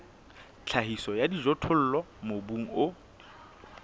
tlhahiso ya dijothollo mobung o